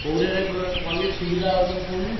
କୋଉଟାରେ କଲେ ସୁବିଧା ହବ ତମେ କହୁନ।